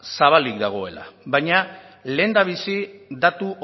zabalik dagoela baina lehendabizi datu